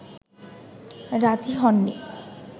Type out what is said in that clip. রাজী হননি